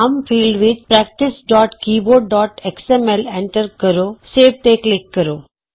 ਨਾਮ ਫੀਲ੍ਡ ਵਿਚ practice keyboard X M L practicekeyboardਐਕਸਐਮਐਲ ਐਂਟਰ ਕਰੋਸੇਵ ਤੇ ਕਲਿਕ ਕਰੋ